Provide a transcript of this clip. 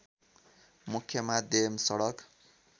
मुख्य माध्यम सडक